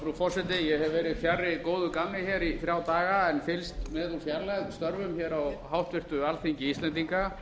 frú forseti ég hef verið fjarri góðu gamni í þrjá daga en fylgst með úr fjarlægð störfum á háttvirtu alþingi íslendinga